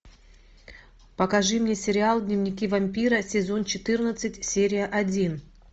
покажи мне сериал дневники вампира сезон четырнадцать серия один